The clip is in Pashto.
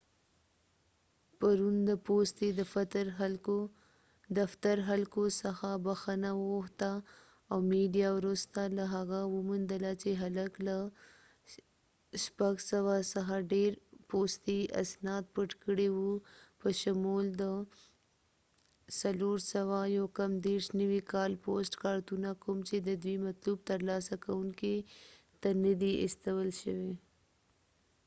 پرون، د پوستې دفتر خلکو څخه بخښنه وغوښته او میډیا وروسته له هغه وموندله چې هلک له ۶۰۰ څخه ډیر پوستي اسناد پټ کړي و، په شمول د ۴۲۹ نوي کال پوسټ کارتونه، کوم چې د دوی مطلوب ترلاسه کونکو ته ندي استول شوي